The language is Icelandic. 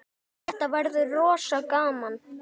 Þetta verður rosa gaman.